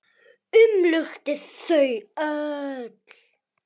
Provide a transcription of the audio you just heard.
Umlukti þau öll.